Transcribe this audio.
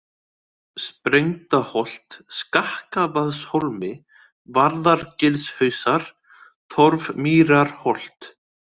Sprengdaholt, Skakkavaðshólmi, Varðargilshausar, Torfmýrarholt